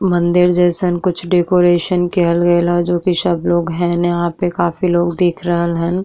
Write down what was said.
मंदिर जैईसन कुछ डेकोरेशन कियल गइल ह जो की सब लोग हैना यहां पे काफी लोग देख रहल हन।